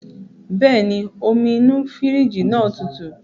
Bẹ́ẹ̀ni, omi inú fírìjì náà tutù